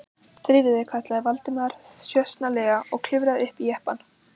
Drífðu þig- kallaði Valdimar þjösnalega og klifraði upp í jeppann.